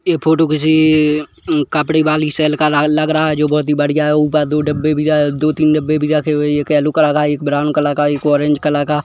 ये फोटो किसी उम- कपड़े वाली सेल का लग रहा है जो बहुत ही बढ़िया है ऊपर दो डब्बे भी है दो तीन डब्बे भी रखे हुए है एक येल्लो कलर का एक ब्राउन कलर का और एक ऑरेंज कलर का --